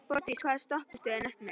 Borgdís, hvaða stoppistöð er næst mér?